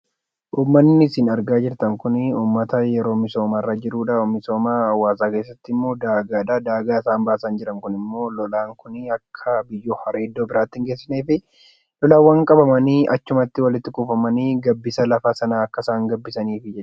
Uummanni isin argaa jirtan Kun, uummata yeroo misoomaa irra jirudha. Misooma hawaasaa keessatti immoo daagaadha. Daagaa isaan baasaa jiran Kun immoo lolaan Kun akka biyyoo haree Iddoo biraatti hin geessinee fi lolaawwan qabamanii achumatti walitti kuufamanii gabbisa lafa sanaatiif akka gabbisafidha.